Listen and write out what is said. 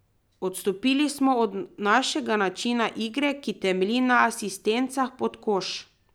Odstopili smo od našega načina igre, ki temelji na asistencah pod koš.